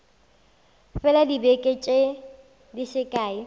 fela dibeke di se kae